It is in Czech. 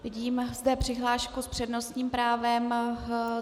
Vidím zde přihlášku s přednostním právem.